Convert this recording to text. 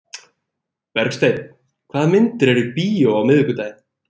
Bergsteinn, hvaða myndir eru í bíó á miðvikudaginn?